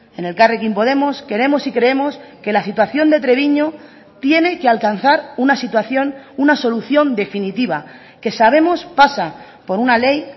en elkarrekin podemos queremos y creemos que la situación de treviño tiene que alcanzar una situación una solución definitiva que sabemos pasa por una ley